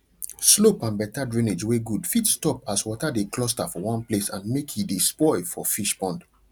slope and better drainage wey good fit stop as water de cluster for one place and make e de spoil for fish pond